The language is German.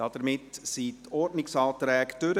Somit sind die Ordnungsanträge vorüber.